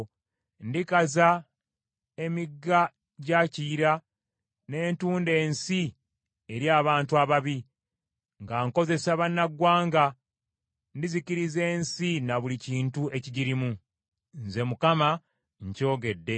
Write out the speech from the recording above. Ndikaza emigga gya Kiyira, ne ntunda ensi eri abantu ababi; nga nkozesa bannaggwanga, ndizikiriza ensi na buli kintu ekigirimu. Nze Mukama nkyogedde.